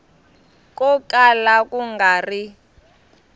ko kala ku nga ri